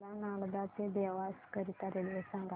मला नागदा ते देवास करीता रेल्वे सांगा